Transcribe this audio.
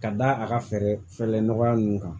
Ka da a ka fɛɛrɛ fɛɛrɛlen nɔgɔya ninnu kan